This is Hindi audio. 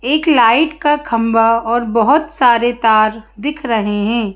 एक लाइट का खंभा और बहोत सारे तार दिख रहे है।